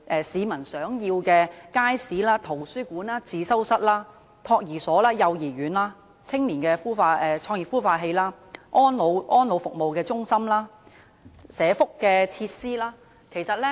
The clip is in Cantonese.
市民想要街市、圖書館、自修室、託兒所、幼兒園、青年創業孵化器、安老服務中心和福利設施。